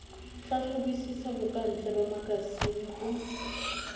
hlahlobisisa bokantle ba makasine o